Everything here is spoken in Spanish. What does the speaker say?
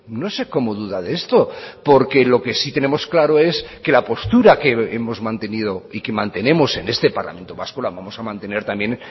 no sé cómo duda de esto porque lo que sí tenemos claro es que la postura que hemos mantenido y que mantenemos en este parlamento vasco la vamos a mantener también